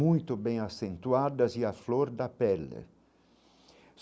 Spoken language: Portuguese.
muito bem acentuadas e a flor da pele.